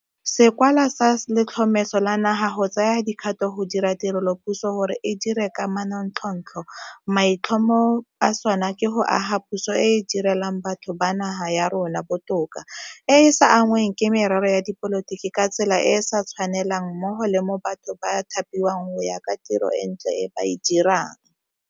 Sekwalwa sa Letlhomeso la Naga go Tsaya Dikgato go dira Tirelopuso gore e Dire ka Manontlhotlho maitlhomo a sona ke go aga puso e e di relang batho ba naga ya rona botoka, e e sa anngweng ke merero ya dipolotiki ka tsela e e sa tshwanelang mmogo le mo batho ba thapiwang go ya ka tiro e ntle e ba e dirang.